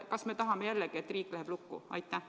Kas me tahame, et riik läheb jälle lukku?